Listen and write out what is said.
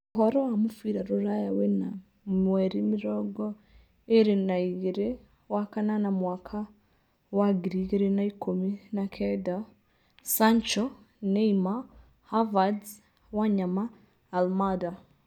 Ũhoro wa mũbira rũraya wena mweri mĩrongo ĩĩrĩ na igĩrĩ wakanana mwaka wa ngiri igĩrĩ na ikũmi na kenda: Sancho, Neymar, Havertz, Wanyama, Almada